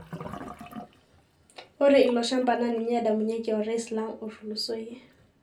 Ore ilo shamba naa ninye edamunyeki orais lang otulosoyie.